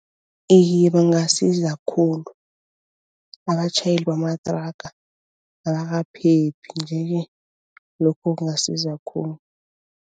Iye bangasiza khulu, abatjhayeli bamathraga abakaphephi nje-ke lokho kungasiza khulu.